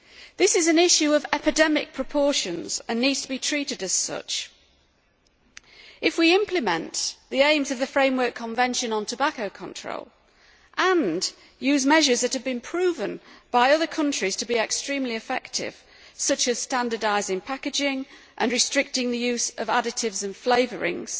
This is an issue of epidemic proportions and needs to be treated as such. If we implement the aims of the Framework Convention on Tobacco Control and use measures that have been proven by other countries to be extremely effective, such as standardising packaging and restricting the use of additives and flavourings,